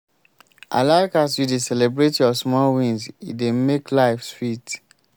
i like as you dey celebrate your small wins e dey make life sweet.